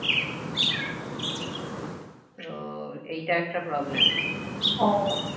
তো এইটা একটা problem